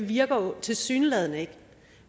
virker tilsyneladende ikke